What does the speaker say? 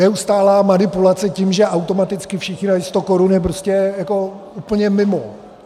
Neustálá manipulace tím, že automaticky všichni dají 100 korun je prostě jako úplně mimo.